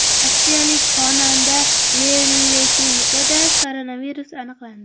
Rossiyalik xonanda Lev Leshenkoda koronavirus aniqlandi.